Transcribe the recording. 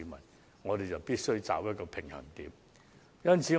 因此，我們必須取得平衡。